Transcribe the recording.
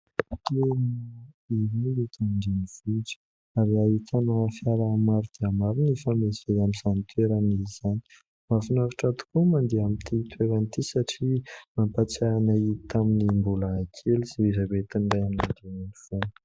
Tery dia tery eto andrenivohitra ary hahitana fiara maro dia maro mifamezivezy amin'izany toerana izany. Mafinaritra tokoa ny mandeha amin'ity toerana ity, satria nampatsiahanay tamin'ny mbola kely sy izay entin'ny raiamandreny tamin'izany.